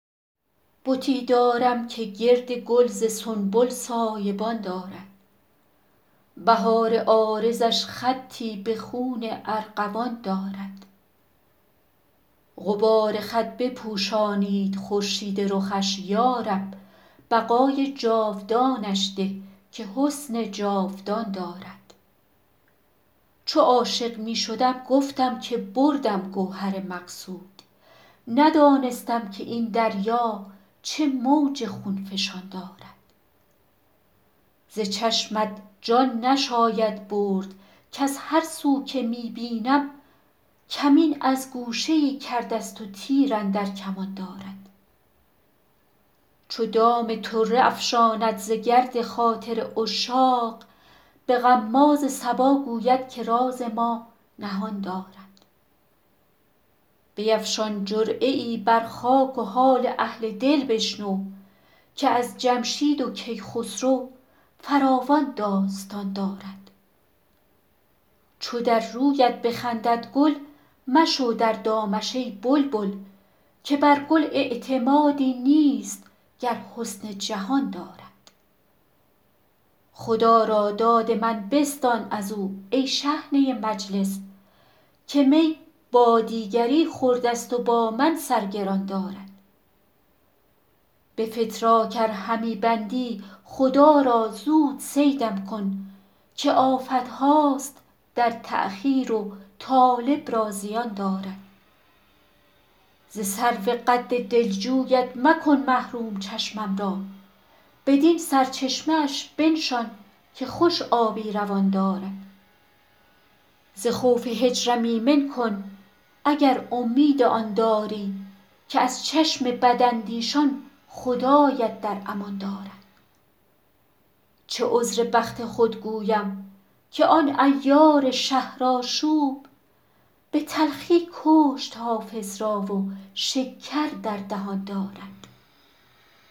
بتی دارم که گرد گل ز سنبل سایه بان دارد بهار عارضش خطی به خون ارغوان دارد غبار خط بپوشانید خورشید رخش یا رب بقای جاودانش ده که حسن جاودان دارد چو عاشق می شدم گفتم که بردم گوهر مقصود ندانستم که این دریا چه موج خون فشان دارد ز چشمت جان نشاید برد کز هر سو که می بینم کمین از گوشه ای کرده ست و تیر اندر کمان دارد چو دام طره افشاند ز گرد خاطر عشاق به غماز صبا گوید که راز ما نهان دارد بیفشان جرعه ای بر خاک و حال اهل دل بشنو که از جمشید و کیخسرو فراوان داستان دارد چو در رویت بخندد گل مشو در دامش ای بلبل که بر گل اعتمادی نیست گر حسن جهان دارد خدا را داد من بستان از او ای شحنه مجلس که می با دیگری خورده ست و با من سر گران دارد به فتراک ار همی بندی خدا را زود صیدم کن که آفت هاست در تأخیر و طالب را زیان دارد ز سرو قد دلجویت مکن محروم چشمم را بدین سرچشمه اش بنشان که خوش آبی روان دارد ز خوف هجرم ایمن کن اگر امید آن داری که از چشم بداندیشان خدایت در امان دارد چه عذر بخت خود گویم که آن عیار شهرآشوب به تلخی کشت حافظ را و شکر در دهان دارد